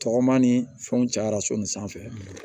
Tɔgɔma ni fɛnw cayara so nin sanfɛ